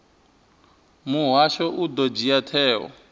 muhasho u ḓo dzhia tsheo